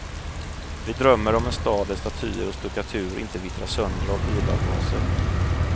Vi drömmer om en stad där statyer och stuckatur inte vittrar sönder av bilavgaser.